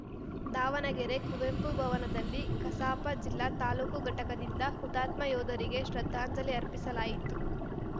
ದಾವಣಗೆರೆ ಕುವೆಂಪು ಭವನದಲ್ಲಿ ಕಸಾಪ ಜಿಲ್ಲಾ ತಾಲೂಕು ಘಟಕದಿಂದ ಹುತಾತ್ಮ ಯೋಧರಿಗೆ ಶ್ರದ್ಧಾಂಜಲಿ ಅರ್ಪಿಸಲಾಯಿತು